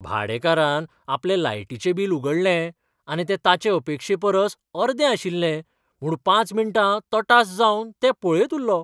भाडेकारान आपलें लायटीचें बिल उगडलें आनी तें ताचे अपेक्षेपरस अर्दें आशिल्लें म्हूण पांच मिनटां तटास जावन तें पळयत उरलो.